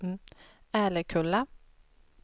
Älekulla